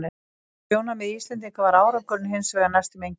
Frá sjónarmiði Íslendinga var árangurinn hins vegar næstum enginn.